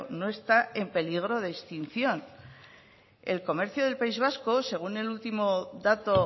no está en peligro de extinción el comercio del país vasco según el último dato